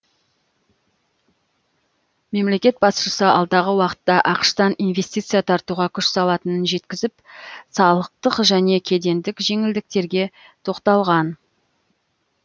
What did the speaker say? мемлекет басшысы алдағы уақытта ақш тан инвестиция тартуға күш салатынын жеткізіп салықтық және кедендік жеңілдіктерге тоқталған